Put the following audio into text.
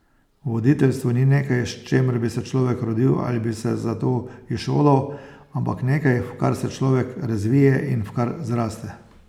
Voditeljstvo ni nekaj, s čemer bi se človek rodil ali bi se za to izšolal, ampak nekaj, v kar se človek razvije in v kar zraste.